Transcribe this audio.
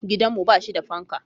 Gidanmu ba shi da fanka.